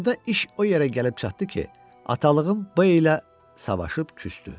Axırda iş o yerə gəlib çatdı ki, atalığı ilə savaşıb küsdü.